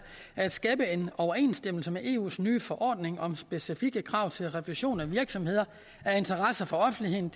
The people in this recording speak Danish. at skabe en overensstemmelse med eus nye forordning om specifikke krav til revision af virksomheder af interesse for offentligheden